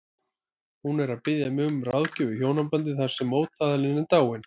Hún er að biðja mig um ráðgjöf í hjónabandi þar sem mótaðilinn er dáinn.